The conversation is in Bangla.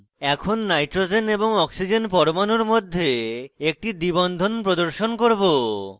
এখন nitrogen এবং oxygen পরমাণুর মধ্যে একটি দ্বিbond প্রদর্শন করব